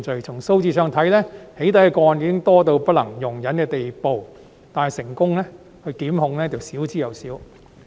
從數字上看，"起底"個案已經多至不能容忍的地步，但成功檢控卻少之又少。